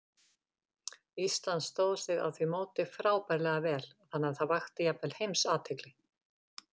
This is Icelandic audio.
Ísland stóð sig á því móti frábærlega vel, þannig að það vakti jafnvel alheimsathygli.